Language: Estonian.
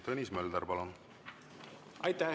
Tõnis Mölder, palun!